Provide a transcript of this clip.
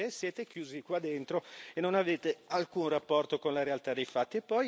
Perché siete chiusi qua dentro e non avete alcun rapporto con la realtà dei fatti.